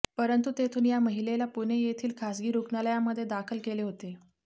परंतु तेथून या महिलेला पुणे येथील खासगी रुग्णालयामध्ये दाखल केले होते